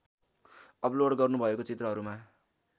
upload गर्नुभएको चित्रहरूमा